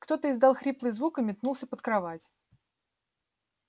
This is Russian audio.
кто-то издал хриплый звук и метнулся под кровать